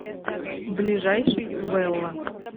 ближайший велла